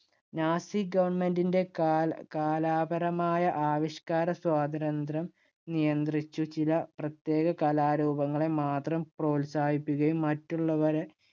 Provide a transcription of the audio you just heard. nazi government ഇന്‍റെ കാല~കാലാപരമായ ആവിഷ്കാരസ്വാതന്ത്ര്യം നിയന്ത്രിച്ചു ചില പ്രത്യേക കലാരൂപങ്ങളെ മാത്രം പ്രോത്സാഹിപ്പിക്കുകയും മറ്റുള്ളവയെ